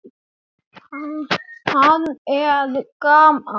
Hann mælti til konu sinnar